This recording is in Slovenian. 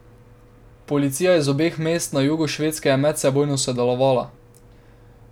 Policija iz obeh mest na jugu Švedske je medsebojno sodelovala.